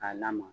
K'a lamaga